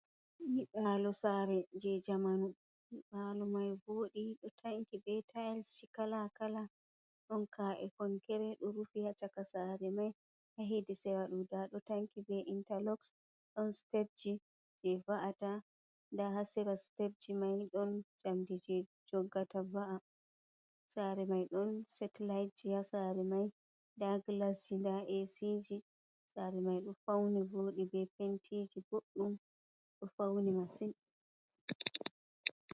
Nyiɓaalo sare je jamanu. Palo mai voɗi ɗo tanki be tayis ji kala kala, ɗon ka’e konkere ɗo rufi ha caka sare mai. Ha hedi chaka may nda ɗo tanki be intalok, ɗon sitebji je va’ata nda hasera sitebji mai ɗon njamdi je joggata va’a. Sare mai ɗon setilayi ji ha sare mai, nda gilasji, nda esiji sare mai ɗo fauni voɗi be pentiji boɗɗum ɗo fauni masin.